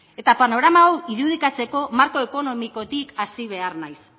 eta panorama hau irudikatzeko marko ekonomikotik hasi behar naiz